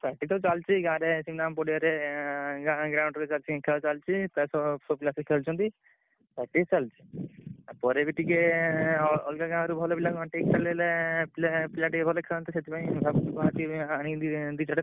Practice ତ ଚାଲିଚି। ଗାଁରେ ପଡିଆରେ ଏଁ ଗାଁ ground କୁ ଚାଞ୍ଚି ଖେଳ ଚାଲିଚି। ପ୍ରାୟତଃ ପୁଅପିଲା ଆସି ଖେଳୁଛନ୍ତି। practice ଚାଲଚି। ତା ପରେ ବି ଟିକେ ଏଁ ~ଅ ଅଲଗା ଗାଁରୁ ଭଲ ପିଲା ~ଏଁ ପେ ପିଲା ଟିକେ ଭଲ ଖେଳନ୍ତି। ସେଥିପାଇଁ ଭାବୁଛୁ ଆଜି ଆଣିକି ଦି ଚାରିଟା।